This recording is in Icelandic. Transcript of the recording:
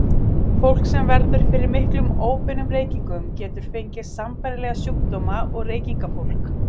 Fólk sem verður fyrir miklum óbeinum reykingum getur fengið sambærilega sjúkdóma og reykingafólk.